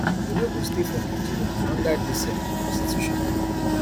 we no go stay for nigeria under dis um constitution